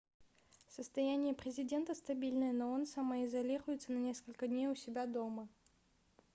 состояние президента стабильное но он самоизолируется на несколько дней у себя дома